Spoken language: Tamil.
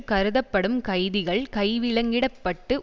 கருதப்படும் கைதிகள் கைவிலங்கிடப்பட்டு